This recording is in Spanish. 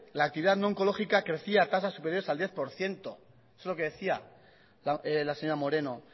la actividad no oncológica crecía en tasas superiores al diez por ciento es lo que decía la señora moreno